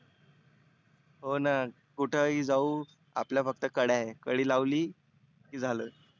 होना कुठे ही जाऊ आपल्या फक्त कड्या आहे. कडी लावली की झालं.